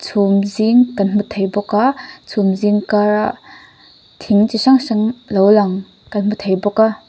chhumzing kan hmu thei bawk a chhumzing kara thing chi hrang hrang lo lang kan hmu thei bawk a.